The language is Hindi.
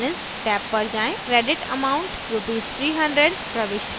balance टैब पर जाएँ credit amount राशि rs 300/ प्रविष्ट करें